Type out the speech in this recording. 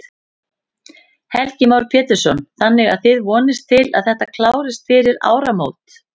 Heimir Már Pétursson: Þannig að þið vonist til að þetta klárist fyrir áramót?